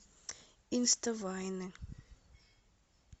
инста вайны